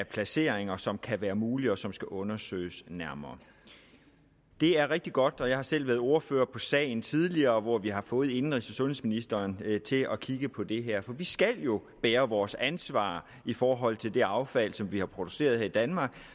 placeringer som kan være mulige og som skal undersøges nærmere det er rigtig godt og jeg har selv været ordfører på sagen tidligere hvor vi har fået indenrigs og sundhedsministeren til at kigge på det her for vi skal jo bære vores ansvar i forhold til det affald som vi har produceret her i danmark og